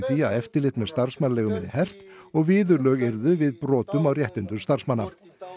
því að eftirlit með starfsmannaleigum yrði hert og viðurlög yrðu við brotum á réttindum starfsmanna